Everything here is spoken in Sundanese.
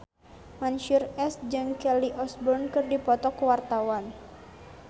Mansyur S jeung Kelly Osbourne keur dipoto ku wartawan